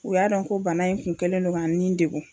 U y'a dɔn ko bana in kun kɛlen don ka n nin degu